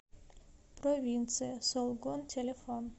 провинция солгон телефон